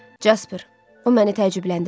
Jasper, o məni təəccübləndirir.